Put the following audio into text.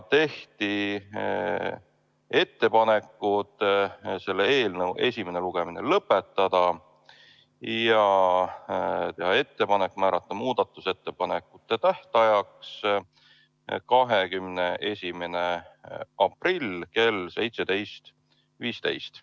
Tehti ettepanekud selle eelnõu esimene lugemine lõpetada ja määrata muudatusettepanekute tähtajaks 21. aprill kell 17.15.